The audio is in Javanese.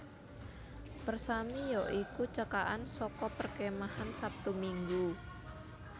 Persami ya iku cekakan saka Perkemahan Sabtu Minggu